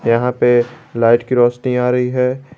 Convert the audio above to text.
यहां पे लाइट की रोशनी आ रही है।